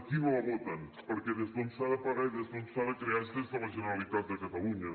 aquí no la voten perquè des d’on s’ha de pagar i des d’on s’ha de crear és des de la generalitat de catalunya